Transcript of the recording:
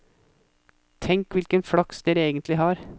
Tenk hvilken flaks dere egentlig har.